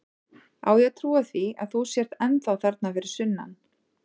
Á ég að trúa því að þú sért ennþá þarna fyrir sunnan?